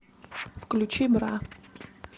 включи бра